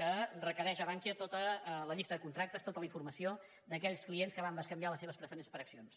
que requereix a bankia tota la llista de contractes tota la informació d’aquells clients que van bescanviar les seves preferents per accions